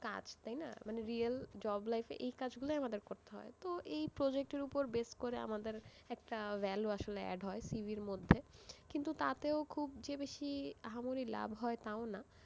কাজ তাইনা, মানে real, job life এ এই কাজ গুলোই আমাদের করতে হয়। তো এই project এর উপর base করে আমাদের একটা value আসলে add হয় CV র মধ্যে, কিন্তু তাতেও খুব যে বেশি, আহামরি লাভ হয় তাও না।